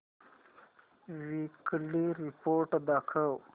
weekly report दाखव